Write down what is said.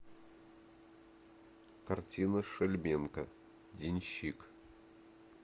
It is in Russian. картина шельменко денщик